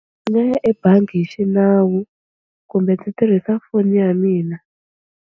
Ndzi nga ya ebangi hi xinawu kumbe ndzi tirhisa foni ya mina.